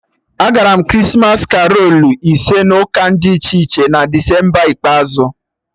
Agara m Krismas karolu ise n'ụka dị iche iche na Desemba ikpeazụ